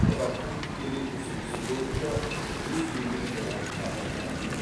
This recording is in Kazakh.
одақтың тікелей ұсынысы бойынша жүз елу грант тағайындалды